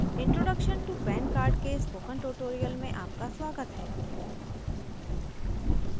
introduction to pan card के spoken tutorial में आपका स्वागत है